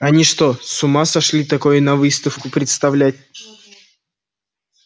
они что с ума сошли такое на выставку представлять